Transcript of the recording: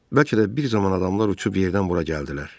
Bəlkə də bir zaman adamlar uçub yerdən bura gəldilər.